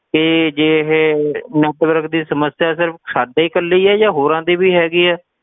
ਤੇ ਜੇ ਇਹ network ਦੀ ਸਮੱਸਿਆ ਸਿਰਫ ਸਾਡੇ ਹੀ ਇਕੱਲੀ ਹੈ ਜਾਂ ਹੋਰਾਂ ਦੀ ਵੀ ਹੈਗੀ ਹੈ।